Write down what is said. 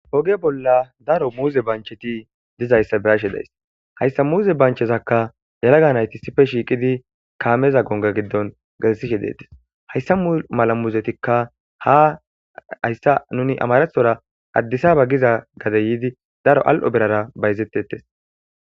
Oge bolla daro muuze bancheti dizayssa birashe days hayssa muze banchezakka yalaga nayti sife shiiqidi kaameza gonga giddon gasishe deetes hayssa mala muzetikka ha hayssa nuni amarethora addisaba giza gade yiidi daro al'o berara bayzettettes.